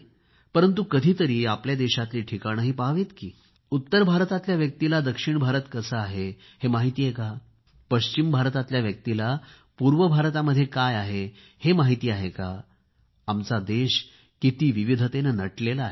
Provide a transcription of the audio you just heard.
परंतु कधीतरी आपल्या देशातली ठिकाणेही पाहावीत की उत्तर भारतातल्या व्यक्तीला दक्षिणभारत कसा आहे हे माहिती आहे का पश्चिम भारतातल्या व्यक्तीला पूर्वभारतामध्ये काय आहे हे माहिती आहे का आमचा देश किती विविधतेने नटलेला आहे